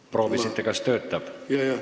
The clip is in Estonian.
Proovisite, kas töötab?